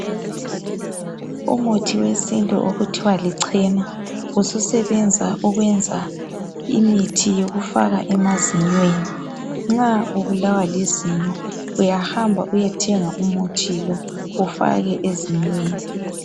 Umuthi wesintu okuthiwa lichena ususebenza ukwenza umuthi yokufaka emazinyweni nxa ubulawa lizinyo uyahamba uyethenga umuthi lo ufake ezinyweni